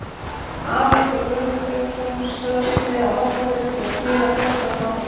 Afi fékk Guðmund Sigurðsson, söðlasmið á Hornafirði, til að smíða töskuna handa mér.